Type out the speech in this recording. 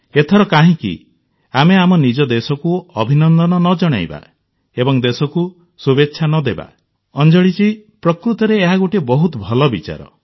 ଏଥର କାହିଁକି ଆମେ ଆମ ନିଜ ଦେଶକୁ ଅଭିନନ୍ଦନ ନ ଜଣେଇବା ଏବଂ ଦେଶକୁ ଶୁଭେଚ୍ଛା ନ ଦେବା ଅଞ୍ଜଳିଜୀ ପ୍ରକୃତରେ ଏହା ଗୋଟିଏ ବହୁତ ଭଲ ବିଚାର